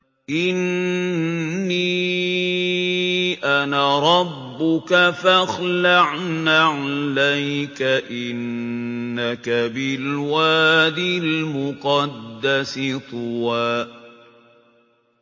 إِنِّي أَنَا رَبُّكَ فَاخْلَعْ نَعْلَيْكَ ۖ إِنَّكَ بِالْوَادِ الْمُقَدَّسِ طُوًى